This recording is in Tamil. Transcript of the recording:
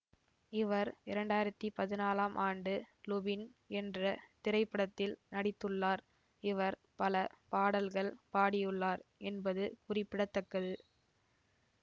இவர் இரண்டாயிரத்தி பதினாலாம் ஆண்டு லுபின் என்ற திரைப்படத்தில் நடித்துள்ளார் இவர் பல பாடல்கள் பாடியுள்ளார் என்பது குறிப்பிட தக்கது